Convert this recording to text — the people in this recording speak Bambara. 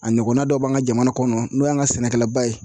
A ɲɔgɔnna dɔ b'an ka jamana kɔnɔ n'o y'an ka sɛnɛkɛlaba ye